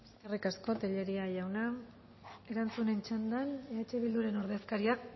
eskerrik asko tellería jauna erantzunen txandan eh bilduren ordezkaria